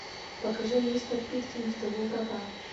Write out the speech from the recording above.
покажи мистер питкин в тылу врага